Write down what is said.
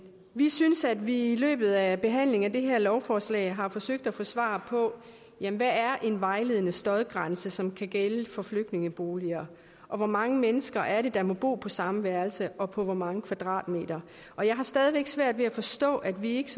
vi synes at vi i løbet af behandlingen af det her lovforslag har forsøgt at få svar på hvad er en vejledende støjgrænse som kan gælde for flygtningeboliger og hvor mange mennesker er det der må bo på samme værelse og på hvor mange kvadratmeter og jeg har stadig væk svært ved at forstå at vi ikke